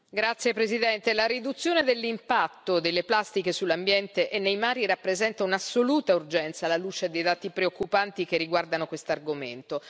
Signor Presidente, onorevoli colleghi, la riduzione dell'impatto delle plastiche sull'ambiente e nei mari rappresenta un'assoluta urgenza alla luce dei dati preoccupanti che riguardano questo argomento.